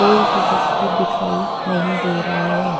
कोई भी व्यक्ति दिखाई नहीं दे रहा है।